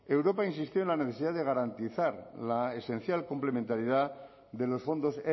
europa insistió en la necesidad de garantizar la esencial complementariedad de los fondos